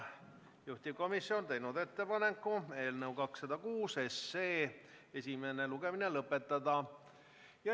Juhtivkomisjon on teinud ettepaneku eelnõu 206 esimene lugemine lõpetada.